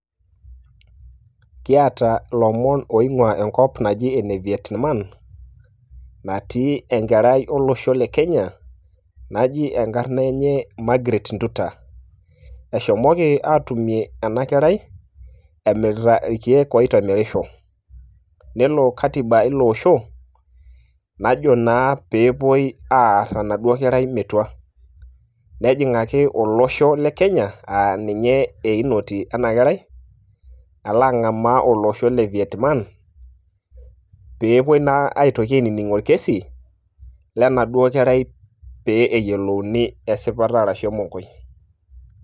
Kiata ilomon oing'ua enkop naji ene Vietnam, natii enkerai olosho le Kenya, naji enkarna enye Margaret Nduta. Eshomoki atumie enakerai emirita irkeek oitemerisho, nelo katiba ilo osho, najo naa pe epuoi aarr enaduo kerai metua. Nejing'aki olosho le Kenya, ah ninye einoti ena kerai, ala ang'amaa olosho le Vietnam pepoi na aitoki ainining' orkesi lenaduo kerai pe eyiolouni esipata arashu emonkoi.